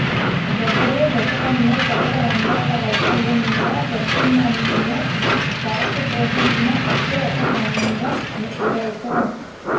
డెబ్బయ్యో దశకంలో సకల రంగాల వైఫల్యం మీద ప్రత్యామ్నాయ పాత్ర పోషించిన ఒకే ఒక సంఘం విరసం